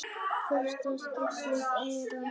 Fyrsta skiptið eða?